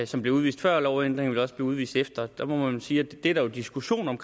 som blev udvist før lovændringen også udvist efter der må man jo sige at det er der jo diskussion om